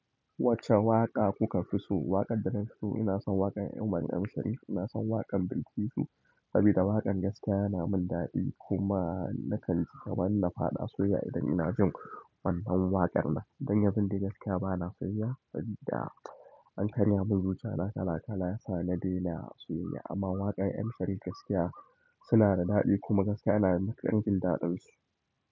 Wacce waƙa kuka fi so? Waƙar da na fi so ina son waƙar umar M shari. Ina son waƙar bilkisu, sabida waƙar gaskiya yana min daɗi kuma na kan ci kaman na faɗa soyyaya idan ina jin wannan waƙar nan. Don yanzun dai gaskiya bana soyyaya an karya mun zuciyana kala-kala yasa na daina soyyaya. Ammma waƙan M sharif gaskiya suna da daɗi kuma gaskiya idan jin daɗin su.